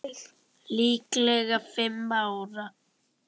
Líklega fimm ára.